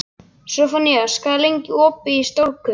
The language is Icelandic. Sophanías, hvað er lengi opið í Stórkaup?